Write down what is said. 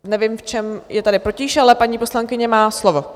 Nevím, v čem je tady potíž, ale paní poslankyně má slovo.